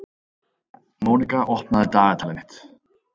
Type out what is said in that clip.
Mónika, opnaðu dagatalið mitt.